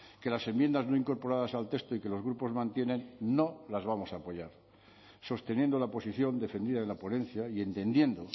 que las enmiendas no incorporadas al texto y que los grupos mantienen no las vamos a apoyar sosteniendo la posición defendida en la ponencia y entendiendo